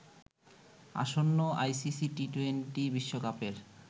আসন্ন আইসিসি টি-২০ বিশ্বকাপের